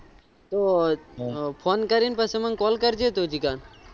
હું ફોન કરીશ પછી મને call કરજે તું જીગા